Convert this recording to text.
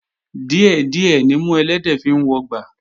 Díẹ̀ díẹ̀ nimú ẹlẹ́dẹ̀ẹ́ fi ń wọgbà